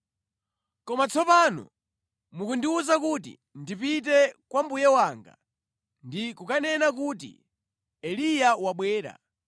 Koma tsopano mukundiwuza kuti ndipite kwa mbuye wanga ndi kukanena kuti, ‘Eliya wabwera.’